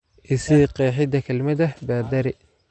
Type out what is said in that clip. I sii qeexida kelmadda baadari